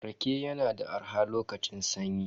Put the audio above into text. Rage yana arha a lokacin sanyi.